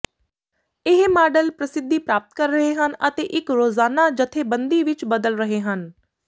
ਇਹ ਮਾਡਲ ਪ੍ਰਸਿੱਧੀ ਪ੍ਰਾਪਤ ਕਰ ਰਹੇ ਹਨ ਅਤੇ ਇੱਕ ਰੋਜ਼ਾਨਾ ਜਥੇਬੰਦੀ ਵਿੱਚ ਬਦਲ ਰਹੇ ਹਨ